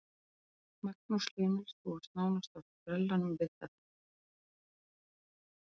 Magnús Hlynur: Þú varst nánast á sprellanum við þetta?